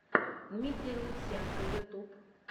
дмитрий лутсенко ютьюб